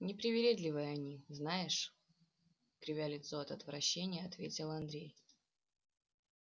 непривередливые они знаешь кривя лицо от отвращения ответил андрей